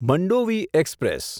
Mandovi express